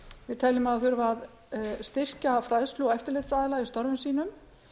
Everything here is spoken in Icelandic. við teljum að þurfi að styrkja fræðslu og eftirlitsaðila í störfum sínum